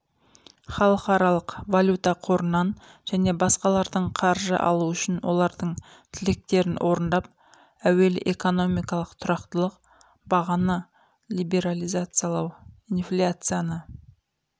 халықаралық валюта қорынан және басқалардың қаржы алу үшін олардың тілектерін орындап әуелі экономикалық тұрақтылық бағаны либерализациялау инфляцияны